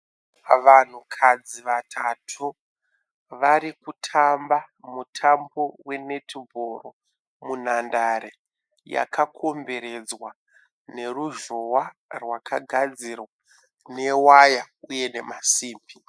Vanhukadzi vatatu vari kutamba mutambo wenetibhoro munhandare yakakomberedzwa neruzhowa rwakagadzirwa newaya uye nemasimbi.